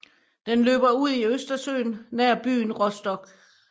Den løber ud i Østersøen nær byen Rostock